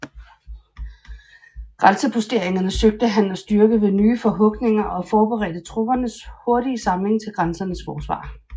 Grænseposteringerne søgte han at styrke ved nye forhugninger og forberedte troppernes hurtige samling til grænsernes forsvar